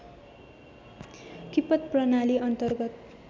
किपट प्रणाली अन्तर्गत